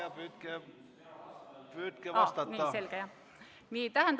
Hea vastaja, püüdke vastata!